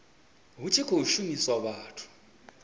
hu tshi khou shumiswa vhathu